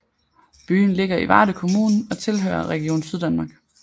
Byen ligger i Varde Kommune og tilhører Region Syddanmark